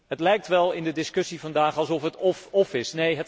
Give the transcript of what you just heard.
Het lijkt wel in de discussie vandaag alsof het of of is